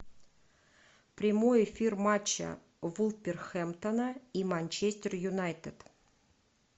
прямой эфир матча вулверхэмптона и манчестер юнайтед